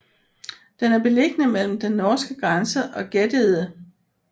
Den er beliggende mellem den norske grænse og Gäddede